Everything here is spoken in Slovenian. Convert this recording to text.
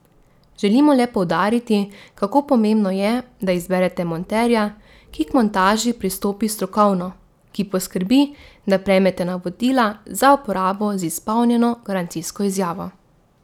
Želimo le poudariti, kako pomembno je, da izberete monterja, ki k montaži pristopi strokovno, ki poskrbi, da prejmete navodila za uporabo z izpolnjeno garancijsko izjavo.